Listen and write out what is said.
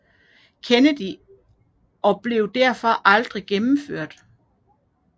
Kennedy og blev derfor aldrig gennemført